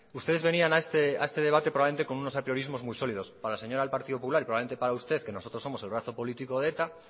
ustedes venían a este debate probablemente con unos atrevimos muy sólidos para la señora del partido popular y probablemente para usted que nosotros somos el brazo político de eta